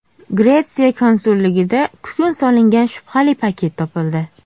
Gretsiya konsulligida kukun solingan shubhali paket topildi.